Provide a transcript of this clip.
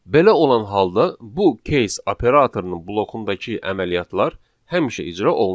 Belə olan halda bu case operatorunun blokundakı əməliyyatlar həmişə icra olunacaq.